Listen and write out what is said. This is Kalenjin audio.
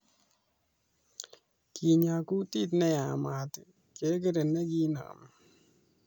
Kenya kutit neyamat kekere nee nekenami